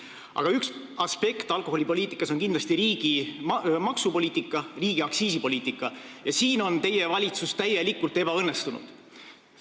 Alkoholipoliitika üks aspekt on kindlasti riigi maksupoliitika, aktsiisipoliitika ja siin on teie valitsus täielikult ebaõnnestunud.